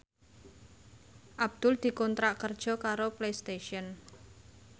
Abdul dikontrak kerja karo Playstation